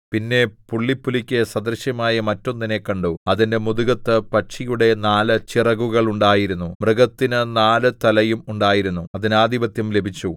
പിന്നെ പുള്ളിപ്പുലിക്കു സദൃശമായ മറ്റൊന്നിനെ കണ്ടു അതിന്റെ മുതുകത്ത് പക്ഷിയുടെ നാല് ചിറകുകളുണ്ടായിരുന്നു മൃഗത്തിന് നാല് തലയും ഉണ്ടായിരുന്നു അതിന് ആധിപത്യം ലഭിച്ചു